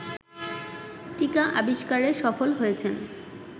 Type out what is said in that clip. টীকা আবিস্কারে সফল হয়েছেন